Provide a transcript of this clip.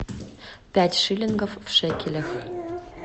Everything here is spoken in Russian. пять шиллингов в шекелях